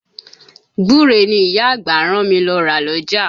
Gbúre ni ìyá àgbà rán mi lọ́ ra l'ọ́jà.